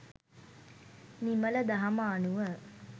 නිමල දහම අනුව